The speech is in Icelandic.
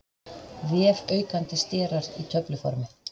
Vefaukandi sterar í töfluformi.